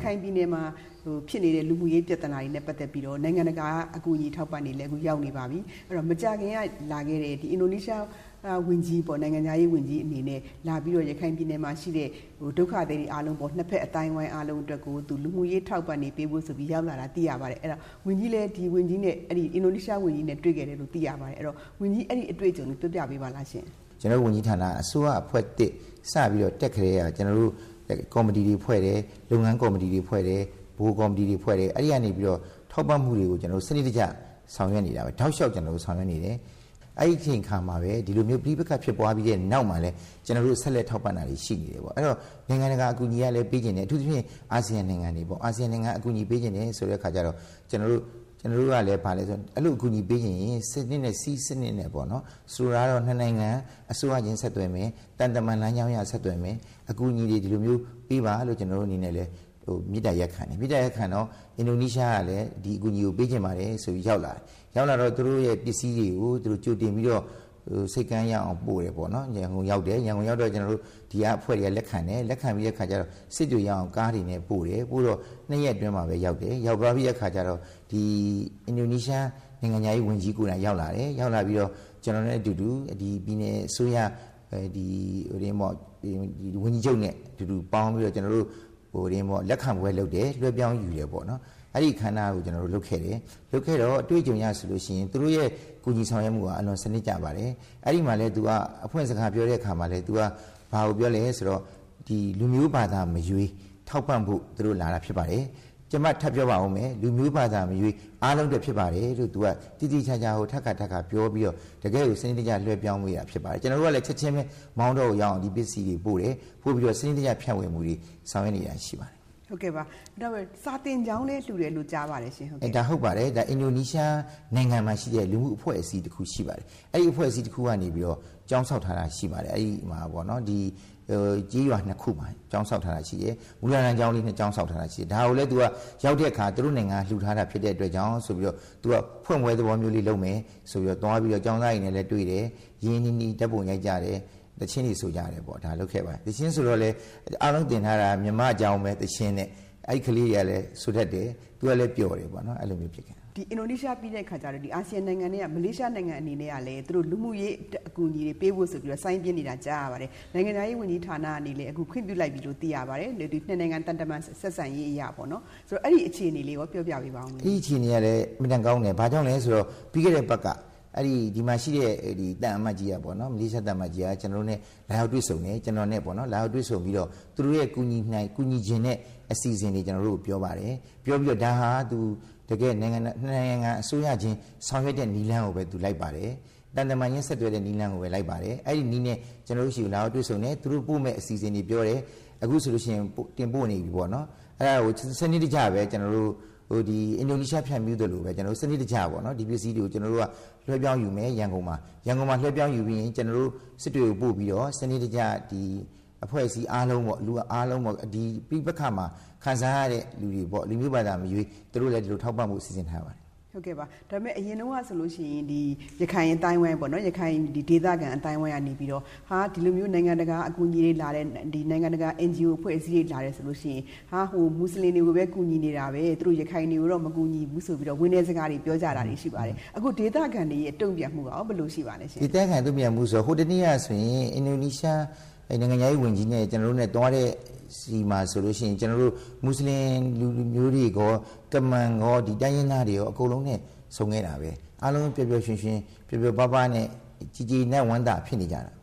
ခိုင်ပြည်နယ်မှာ ဖြစ်နေတဲ့ လူမှုရေးပြဿနာတွေနဲ့ ပတ်သက်ပြီးတော့ နိုင်ငံတကာက အကူအညီအထောက်အပံ့တွေလည်း အခုရောက်နေပါပြီ။ အဲဒီတော့ မကြာခင်က လာခဲ့တဲ့ အင်ဒိုနီးရှားနိုင်ငံခြားရေးဝန်ကြီး အနေနဲ့ လာပြီးတော့ ရခိုင်ပြည်နယ်မှာရှိတဲ့ ဒုက္ခသည်တွေအားလုံးပေါ့ ၂ ဘက်အသိုင်းအဝိုင်း အားလုံးအတွက်ကို လူမှုရေးအထောက်အပံ့တွေ ပေးဖို့ဆိုပြီး ရောက်လာတာ သိရပါတယ်။ အဲဒီတော့ ဝန်ကြီးလည်း အင်ဒိုနီးရှားနိုင်ငံခြားရေးဝန်ကြီးနဲ့ တွေ့ခဲ့တယ်လို့ သိရပါတယ်။ အဲဒီတော့ ဝန်ကြီးအဲဒီအတွေ့အကြုံလေး ပြောပြပါလားရှင့်။ ဒေါက်တာဝင်းမြတ်အေး။ ။ ကျနော်တို့ဝန်ကြီးဌာနက အစိုးရအဖွဲ့သစ် စပြီးတော့ တက်ခဲ့တဲ့ကာလကတည်းက ကျနော်တို့ကော်မတီတွေဖွဲ့တယ်၊ လုပ်ငန်းကော်မတီတွေ၊ ဗဟိုကော်မတီတွေ ဖွဲ့တယ်။ အဲဒီကနေပြီးတော့ ထောက်ပံ့မှုတွေကို စနစ်တကျ ဆောင်ရွက်နေတာပါ။ ဒါကို ကျနော်တို့ တောက်လျှောက်ဆောင်ရွက်နေတယ်။ အဲဒီအချိန်အခါမှာပဲ ဒီလိုမျိုး ပဋိပက္ခ ဖြစ်ပွားပြီးတဲ့ နောက်မှာလည်း ကျနော်တို့ ဆက်လက်ထောက်ပံ့တာတွေ ရှိနေတယ်ပေါ့နော် အဲဒီတော့ နိုင်ငံတကာအကူအညီတွေကလည်းပေးချင်တယ် အထူးသဖြင့်တော့ အာဆီယံနိုင်ငံတွေက အကူအညီပေးချင်တယ်ဆိုတဲ့အခါကျတော့ ကျနော်တို့ကလည်း ဘာလဲဆိုတော့ အဲလို အကူအညီတွေပေးချင်ရင် စည်းစနစ်နဲ့ပေါ့နော် ၊ ဆိုလိုတာကတော့ ၂ နိုင်ငံ အစိုးရခြင်းဆက်သွယ်မယ်။ သံတမန်လမ်းကြောင်းအရ ဆက်သွယ်မယ်၊ အကူအညီတွေ ဒီလိုမျိုးပေးပါဆိုပြီးတော့ ကျနော်တို့အနေနဲ့ မေတ္တာရပ်ခံတယ်။ အဲလို မေတ္တာရပ်ခံတော့ အင်ဒိုနီးရှားကလည်း ဒီအကူအညီကို ပေးချင်ပါတယ်ဆိုပြီးတော့ ရောက်လာတယ်။ ရောက်လာတော့ သူတို့ ပစ္စည်းတွေကို သူတို့ ကြိုတင်ပြီးတော့ ဆိပ်ကမ်းရောက်အောင်ပို့တယ်။ နောက်ပြီး ရန်ကုန်ရောက်တယ်၊ ဒီကအဖွဲ့တွေက လက်ခံတယ်။ လက်ခံပြီး စစ်တွေရောက်အောင် ကားတွေနဲ့ ပို့တယ်။ နောက် ၂ ရက်အတွင်းမှာပဲ ရောက်သွားတယ်၊ ရောက်ပြီးတဲ့ အခါကျတော့ အင်ဒိုနီးရှားနိုင်ငံခြားရေးဝန်ကြီးကိုယ်တိုင် ရောက်လာတယ်။ ရောက်လာပြီးတော့ ကျနော်နဲ့အတူတူ ပြည်နယ်အစိုးရ ဝန်ကြီးချုပ်နဲ့ အတူတူပေါင်းပြီးတော့ ကျနော်တို့လက်ခံပွဲလုပ်တယ်၊ လွှဲပြောင်းယူတယ်ပေါ့နော် အဲဒီအခမ်းအနားကို ကျနော်တို့ လုပ်ခဲ့တယ်၊ လုပ်ခဲ့တော့ အတွေ့အကြုံအရဆိုရင် သူတို့ရဲ့ ကူညီဆောင်ရွက်မှုဟာ အလွန်စနစ်ကျပါတယ်။ အဲဒီမှာလည်း သူက အဖွင့်စကားပြောတဲ့အခါမှာလည်း သူက ဘာကိုပြောလဲဆိုတော့ “လူမျိုးဘာသာမရွေး ထောက်ပံ့ဖို့လာတာဖြစ်ပါတယ်၊ ကျမထပ်ပြောပါမယ် လူမျိုးဘာသာမရွေး အားလုံးအတွက် ဖြစ်ပါတယ်” လို့ သူက သေသေချာချာကို ထပ်ခါထပ်ခါပြောပြီးတော့ တကယ့်ကို စနစ်တကျ လွှဲပြောင်းပေးတာဖြစ်ပါတယ်။ ကျနော်တို့ကလည်း ချက်ခြင်းပဲ မောင်တောကိုရောက်အောင်ပို့တယ်။ ပို့ပြီးတော့ စနစ်တကျ ဖြန့်ဝေမှုတွေ ဆောင်ရွက်နေတာတွေရှိပါတယ်။ ဒေါ်ခင်စိုးဝင်း။ ။ဟုတ်ကဲ့ပါ နောက်ပြီးတော့ စာသင်ကျောင်းလည်းလှူတယ်လို့ ကြားပါတယ်။ ဒေါက်တာဝင်းမြတ်အေး။ ။ ဟုတ်ပါတယ် အင်ဒိုနီးရှားနိုင်ငံမှာရှိတဲ့ လူမှုအဖွဲ့အစည်းတခုရှိပါတယ်။ သူတို့ကနေပြီးတော့ ကျေးရွာ၂ ခုမှာ ကျောင်းဆောက်ထားတာရှိပါတယ်။ မူလတန်းကျောင်းလေး ၂ ကျောင်းဆောက်ထားတာရှိပါတယ်။ ဒါကိုလည်း သူတို့က ရောက်တဲ့အခါ သူတို့နိုင်ငံက လှူထားတာ ဖြစ်တဲ့အတွက်ကြောင့် ဖွင့်ပွဲသဘောလေးမျိုးလုပ်မယ်ဆိုပြီးတော့ ကျောင်းသားတွေနဲ့ တွေ့တယ်၊ ရင်းရင်းနီးနီး ဓါတ်ပုံရိုက်ကြတယ်၊ သီချင်းတွေဆိုကြတယ် ဒါတွေလုပ်ခဲ့ပါတယ်။ သီချင်းတွေဆိုတော့လည်း အားလုံးသင်ထားတာက မြန်မာ့ကျောင်းသီချင်းနဲ့ အဲဒီကလေးတွေကလည်း ဆိုတတ်တယ်၊ သူကလည်း ပျော်တယ်ပေါ့နော်။ ဒေါ်ခင်စိုးဝင်း။ ။အင်ဒိုနီးရှားပြီးတဲ့အခါကျတော့ အာဆီယံနိုင်ငံထဲကပဲ မလေးရှား နိုင်ငံအနေနဲ့ကလည်း လူမှုရေးအကူအညီတွေပေးဖို့ဆိုပြီးတော့ စိုင်းပြင်းနေတာ ကြားရပါတယ်။ နိုင်ငံခြားရေးဌာနကနေလည်း အခုခွင့်ပြုလိုက်ပြီလို့ ကြားရပါတယ်။ ဒီ ၂ နိုင်ငံ သံတမန် ဆက်ဆံရေးအရ ၊ ဆိုတော့ အဲဒီအခြေအနေလေးရော ပြောပြပေးပါ။ ဒေါက်တာဝင်းမြတ်အေး။ ။ အဲဒီအခြေအနေကလည်း အင်မတန်ကောင်းတယ် ဘာကြောင့်လဲဆိုတော့ ပြီးခဲ့တဲ့အပတ်က ဒီမှာရှိတဲ့ မလေးရှားသံအမတ်ကြီးက ကျနော်တို့နဲ့ လာရောက်တွေ့ဆုံတယ်၊ ပြီးတော့ သူတို့ရဲ့ ကူညီချင်တဲ့ အစီအစဉ်တွေပြောတယ်။ ပြောပြီးတော့ သူက ၂ နိုင်ငံအစိုးရချင်း ဆောင်ရွက်တဲ့ နည်းလမ်းကိုပဲ လိုက်ပါတယ်၊ သံတမန်ချင်းဆက်သွယ်တဲ့ နည်းလမ်းကိုပဲ လိုက်ပါတယ် အဲဒီနည်းနဲ့ ကျနော်တို့ဆီကို လာရောက်တွေ့ဆုံတယ်၊ နောက်ပြီးပို့မယ့်အစီအစဉ်တွေပြောတယ်။ အခုဆိုရင် ပို့နေပြီပေါ့နော် ဆိုတော့ စနစ်တကျပဲ ကျနော်တို့ အင်ဒိုနီးရှားကို ဖြန့်ဖြူးသလိုပဲ စနစ်တကျ ကျနော်တို့ ဒီပစ္စည်းတွေကို ရန်ကုန်မှာ လွှဲပြောင်းယူပြီးရင် ကျနော်တို့ စစ်တွေကို ပို့ပြီးတော့ စနစ်တကျအဖွဲ့အစည်းအားလုံးပေါ့ ၊ လူအားလုံးပေါ့ ပဋိပက္ခမှာ ခံစားရတဲ့လူတွေပေါ့ လူမျိုးဘာသာမရွေး သူတို့လည်း ဒီလိုထောက်ပံ့ဖို့ စီစဉ်ထားပါတယ်။ ဒေါ်ခင်စိုးဝင်း။ ။ဟုတ်ကဲ့ပါ ဒါပေမယ့် အရင်တုန်းကဆိုရင် ရခိုင်ဒေသခံ အသိုင်းအဝိုင်းပေါ့နော် ဒီလိုမျိုး နိုင်ငံတကာ NGO အဖွဲ့အစည်းတွေလာတယ်ဆိုရင် မွတ်ဆလင်တွေကိုပဲ ကူညီနေတာပဲ၊ ရခိုင်တွေကိုတော့ မကူဘူးဆိုပြီးတော့ ဝမ်းနည်းစကားတွေပြောကြတာတွေရှိပါတယ်။ အခု ဒေသခံတွေရဲ့ တုံ့ပြန်မှုရော ဘယ်လိုရှိပါသလဲ။ ဒေါက်တာဝင်းမြတ်အေး။ ။ ဒေသခံတွေရဲ့ တုံ့ပြန်မှုဆိုတော့ ဟိုတနေ့ကဆိုရင် အင်ဒိုနီးရှားနိုင်ငံခြားရေးဝန်ကြီး နဲ့ ကျနော်တို့ သွားတဲ့နေရာမှာဆိုရင် မွတ်ဆလင်လူမျိုးတွေရော၊ ကမန်ကော ဒီတိုင်းရင်းသားတွေရော အကုန်လုံးနဲ့ ဆုံခဲ့တာပဲ။ အားလုံးပျော်ပျော်ရွှင်ရွှင် ပျော်ပျော်ပါးပါးနဲ့ ကျေနပ်ဝမ်းသာ ဖြစ်နေကြတာ